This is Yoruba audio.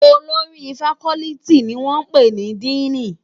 Ólórì fákòlìtí ni wòn pé ni dìní